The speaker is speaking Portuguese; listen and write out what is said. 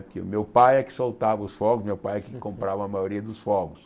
Que o meu pai é que soltava os fogos, meu pai é que comprava a maioria dos fogos.